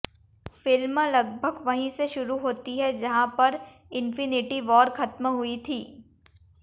film लगभग वहीं से शुरू होती है जहां पर इन्फिनिटी वॉर खत्म हुई थी